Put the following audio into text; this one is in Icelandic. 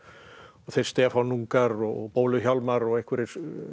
þeir Stefánungar og bólu Hjálmar og einhverjir